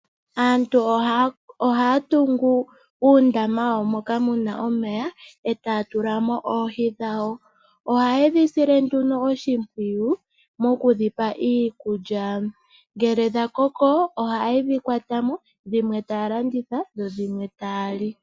Aantu ohaya tungu uundama wawo moka muna omeya ,etaya tulamo nduno oohi dhawo. Ohayedhi sile nduno oshimpwiyu mokudhipa iikulya. Ngele dhakoko ohayedhi kwatamo . dhimwe ohaya landitha nenge yalye.